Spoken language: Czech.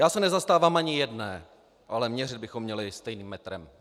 Já se nezastávám ani jedné, ale měřit bychom měli stejným metrem.